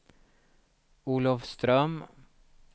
Olofström